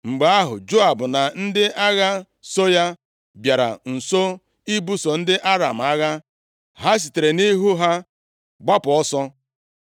Mgbe ahụ, Joab na ndị agha so ya bịara nso ibuso ndị Aram agha, ha sitere nʼihu ha gbapụ ọsọ.